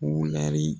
Wulɛri